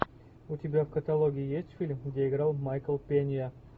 у тебя в каталоге есть фильм где играл майкл пенья